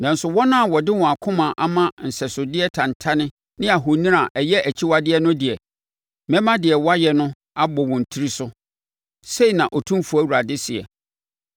Nanso wɔn a wɔde wɔn akoma ama nsɛsodeɛ tantane ne ahoni a ɛyɛ akyiwadeɛ no deɛ, mɛma deɛ wɔayɛ no abɔ wɔn tiri so, sei na Otumfoɔ Awurade seɛ.”